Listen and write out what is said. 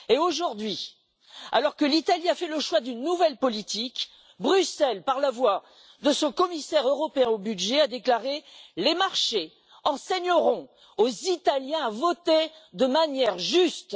Aujourd'hui, alors que l'Italie a fait le choix d'une nouvelle politique, Bruxelles, par la voix de son commissaire européen au budget, a déclaré Les marchés enseigneront aux Italiens à voter de manière juste.